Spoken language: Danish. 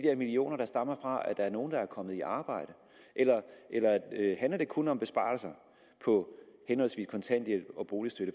millioner der stammer fra at der er nogle der er kommet i arbejde eller handler det kun om besparelser på henholdsvis kontanthjælp og boligstøtte